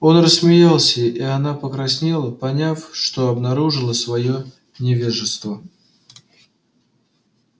он рассмеялся и она покраснела поняв что обнаружила своё невежество